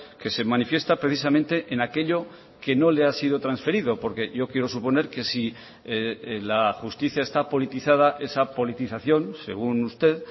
que se manifiesta precisamente en aquello que no le ha sido transferido porque yo quiero suponer que si la justicia está politizada esa politización según usted